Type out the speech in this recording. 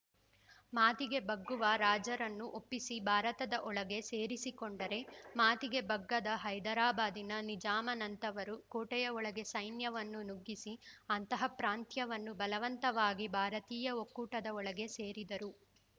ಮಾತಿಗೆ ಬಗ್ಗುವ ರಾಜರನ್ನು ಒಪ್ಪಿಸಿ ಭಾರತದ ಒಳಗೆ ಸೇರಿಸಿಕೊಂಡರೆ ಮಾತಿಗೆ ಬಗ್ಗದ ಹೈದರಾಬಾದಿನ ನಿಜಾಮನಂತವರ ಕೋಟೆಯ ಒಳಗೆ ಸೈನ್ಯವನ್ನು ನುಗ್ಗಿಸಿ ಅಂತಹ ಪ್ರಾಂತ್ಯವನ್ನು ಬಲವಂತವಾಗಿ ಭಾರತೀಯ ಒಕ್ಕೂಟದ ಒಳಗೆ ಸೇರಿದರು